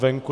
Není.